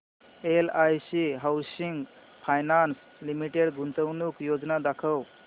LIC housing finance limited गुंतवणूक योजना दाखव